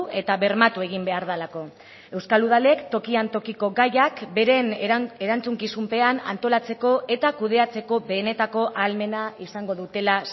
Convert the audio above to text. eta bermatu egin behar delako euskal udalek tokian tokiko gaiak beren erantzukizunpean antolatzeko eta kudeatzeko benetako ahalmena izango dutela